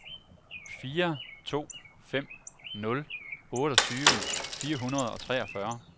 fire to fem nul otteogtyve fire hundrede og treogfyrre